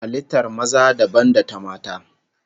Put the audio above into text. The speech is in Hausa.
Halittar maza dabam da ta mata